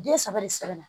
Den saba de sɛbɛnna